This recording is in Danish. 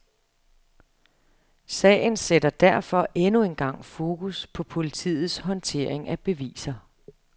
Sagen sætter derfor endnu engang fokus på politiets håndtering af beviser.